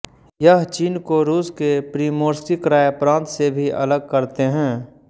यह चीन को रूस के प्रिमोर्स्की क्राय प्रान्त से भी अलग करते हैं